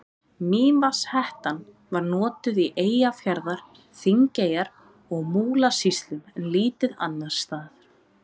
Mývatnshettan var notuð í Eyjafjarðar-, Þingeyjar- og Múlasýslum en lítið annars staðar.